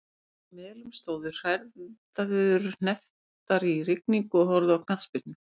Úti á Melum stóðu nokkrar hræður hnepptar í rigningu og horfðu á knattspyrnu.